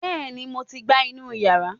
Bẹ́ẹ̀ni mo ti gbá inú yàrá